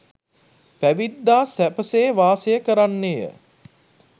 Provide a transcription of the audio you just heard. පැවිද්දා සැපසේ වාසය කරන්නේය.